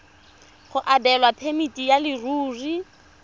go abelwa phemiti ya leruri